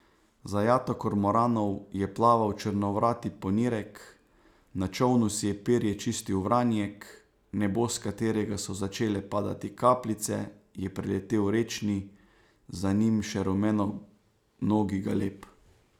Za jato kormoranov je plaval črnovrati ponirek, na čolnu si je perje čistil vranjek, nebo, s katerega so začele padati kapljice, je preletel rečni, za njim še rumenonogi galeb.